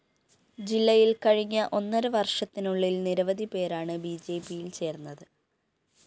ജില്ലയില്‍ കഴിഞ്ഞ ഒന്നര വര്‍ഷത്തിനുള്ളില്‍ നിരവധി പേരാണ് ബിജെപിയില്‍ ചേര്‍ന്നത്